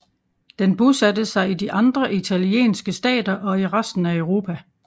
Den bosatte sig i de andre italienske stater og i resten af Europa